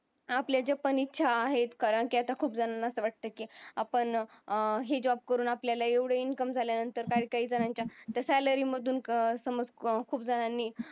आपल्या ज्या पण इच्छा आहेत कारण की आता खूप जणांना असं वाटतं की आपण ही job करून आपल्याला एवढा income झाल्यानंतर काही काही जणांच्या salary मधून समज खूप जणांनी